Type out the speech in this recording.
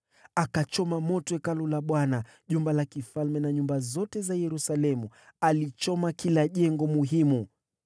Alichoma moto Hekalu la Bwana , jumba la kifalme, na nyumba zote za Yerusalemu. Aliteketeza kila jengo muhimu.